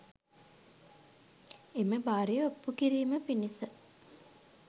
එම බාරය ඔප්පු කිරීම පිණිස